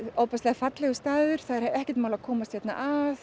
fallegur staður og ekkert mál að komast hérna að